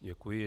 Děkuji.